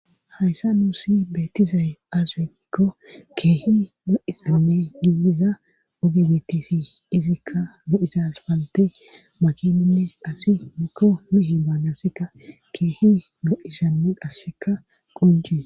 hayssa nuusi beettizaye asimikko keehi nu7isime yiiiza oge bettesi izikka nu7izas palte makinonne asi mikko mehe baannasikka keehi nu7isanu qasseka qunjie